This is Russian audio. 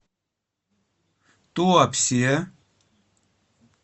туапсе